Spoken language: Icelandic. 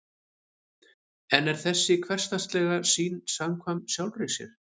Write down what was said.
en er þessi hversdagslega sýn samkvæm sjálfri sér